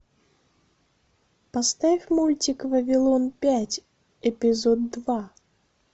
поставь мультик вавилон пять эпизод два